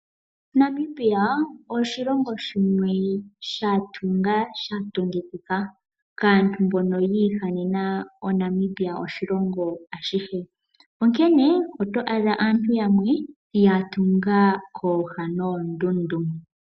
Namibia oshilongo shimwe sha tunga sha tungikika kaantu mbono ya ihanena oNamibia oshilongo ashihe, onkene oto adha aantu yamwe ya tunga kooha noondundu.